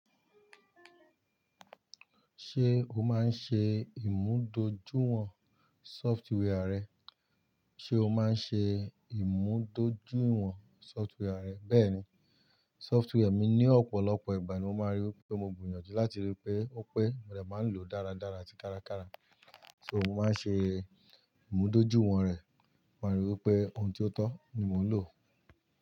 Ṣé o máa ń ṣe ìmúdójúìwọ̀n software rẹ? Ṣé o máa ń ṣe ìmúdójúìwọ̀n software rẹ? Bẹ́ẹ̀ni, software mi ní ọ̀pọ̀lọpọ̀ ìgbà ní mo máa ń rí i pé mo gbiyanju láti rí i pé ó pé mo de máa ń lò dáradára àti kárakára. So mo máa ń ṣe ìmúdójúìwọ̀n rẹ̀, mo máa ń rí i pé ohun tí ó tọ́ ni mò ń lò.